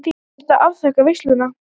Þurft að afþakka veislur.